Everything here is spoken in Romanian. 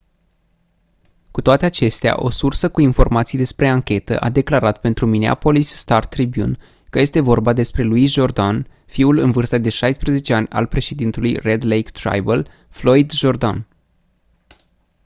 cu toate acestea o sursă cu informații despre anchetă a declarat pentru minneapolis star-tribune că este vorba despre louis jourdain fiul în vârstă de 16 ani al președintelui red lake tribal floyd jourdain